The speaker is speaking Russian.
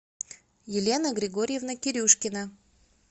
елена григорьевна кирюшкина